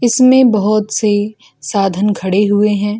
इसमें बहुत से साधन खड़े हुए हैं।